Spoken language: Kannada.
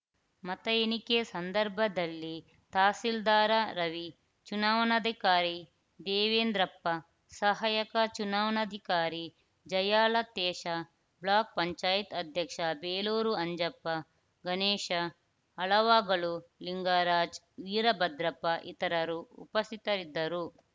ಮತ ಎಣಿಕೆ ಸಂದರ್ಭದಲ್ಲಿ ತಹಶೀಲ್ದಾರ ರವಿ ಚುನಾವಣಾಧಿಕಾರಿ ದೇವೇಂದ್ರಪ್ಪ ಸಹಾಯಕ ಚುನಾವಣಾಧಿಕಾರಿ ಜಯಾಲತೇಶ ಬ್ಲಾಕ್‌ ಪಂಚಾಯತ್ ಅಧ್ಯಕ್ಷ ಬೇಲೂರು ಅಂಜಪ್ಪ ಗಣೇಶ ಹಲುವಾಗಲು ಲಿಂಗರಾಜು ವೀರಭದ್ರಪ್ಪ ಇತರರು ಉಪಸ್ಥಿತರಿದ್ದರು